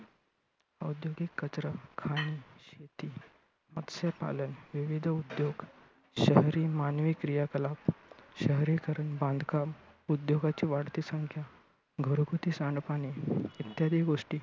औद्योगिक कचरा, खाणी, शेती, मत्स्यपालन, विविध उद्योग, शहरी मानवी क्रिया कला, शहरीकरण, बांधकाम, उद्योगांची वाढती संख्या, घरगुती सांडपाणी इत्यादी गोष्टी.